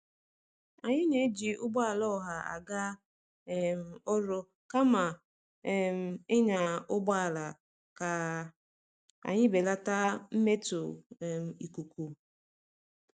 Anyị na-eji ụgbọala ọha aga um ọrụ kama um ịnya ụgbọala ka anyị belata mmetọ um ikuku.